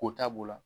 Ko ta b'o la